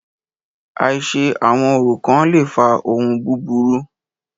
Àìṣe àwọn orò kán le fa ohun búburú.